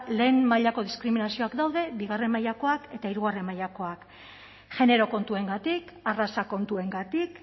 lehen mailako diskriminazioak daude bigarren mailakoak eta hirugarren mailakoak genero kontuengatik arraza kontuengatik